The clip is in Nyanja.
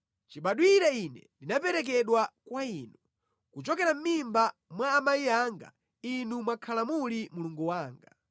Chibadwire ine ndinaperekedwa kwa Inu; kuchokera mʼmimba mwa amayi anga Inu mwakhala muli Mulungu wanga.